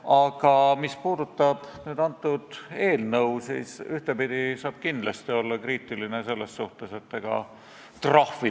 Ja mul on väga hea meel selle üle, et kultuurikomisjonis oldi komisjoni esindaja väitel üksmeelel, et probleem on olemas, aga et füüsilisi ja juriidilisi isikuid võiks käsitleda eraldi ja erinevalt ja et eelnõu esitatud kujul ei lahenda probleemi.